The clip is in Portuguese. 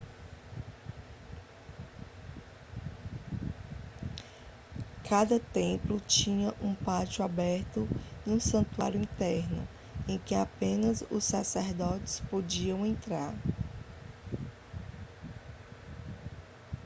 cada templo tinha um pátio aberto e um santuário interno em que apenas os sacerdotes podiam entrar